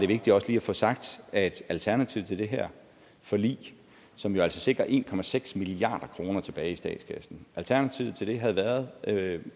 vigtigt også lige at få sagt at alternativet til det her forlig som jo altså sikrer en milliard kroner tilbage i statskassen havde været